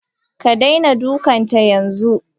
Ka daina dukanta yanzu